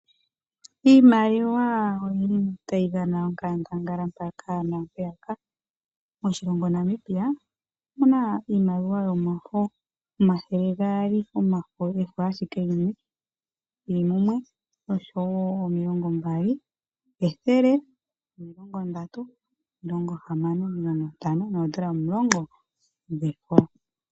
Iimaliwa oyili tayi dhana onkandanga mpaka nampeyaka. Moshilongo Namibia omuna iimaliwa yomafo omathele gaali omafo efo ashike limwe lili mumwe noshowo omilongo mbali, ethele, omilongo ndatu, omilongo hamano, omilongo ntano nodollar omulongo dhefo.